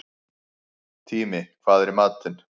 Tími, hvað er í matinn?